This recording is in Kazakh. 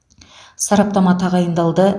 сараптама тағайындалды